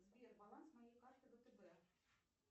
сбер баланс моей карты втб